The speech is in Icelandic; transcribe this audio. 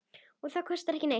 Og það kostar ekki neitt.